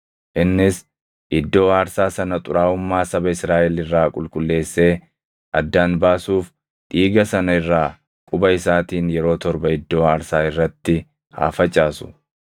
Innis iddoo aarsaa sana xuraaʼummaa saba Israaʼel irraa qulqulleessee addaan baasuuf dhiiga sana irraa quba isaatiin yeroo torba iddoo aarsaa irratti haa facaasu.